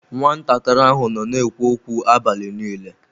Nwatakịrị ahụ nọ na-ekwu okwu abalị niile.